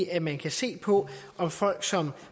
at man kan se på om folk som